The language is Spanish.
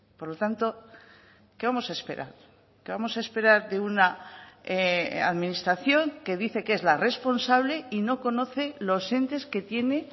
por lo tanto qué vamos a esperar qué vamos a esperar de una administración que dice que es la responsable y no conoce los entes que tiene